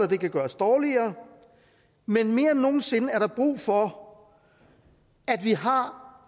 det kan gøres dårligere men mere end nogen sinde er der brug for at vi har